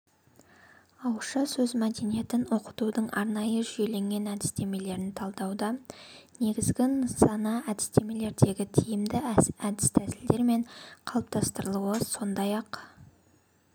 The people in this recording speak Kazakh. ауызша сөз мәдениетін оқытудың арнайы жүйеленген әдістемелерін талдауда негізгі нысана әдістемелердегі тиімді әдіс-тәсілдер мен қалыптастырылуы сондай-ақ